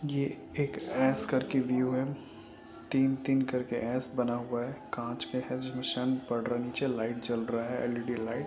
ये एक एस करके व्यू है | तीन-तीन करके एस बना हुआ है| कांच का है जो लाइट जल रहा है एल_इ_डी लाइट--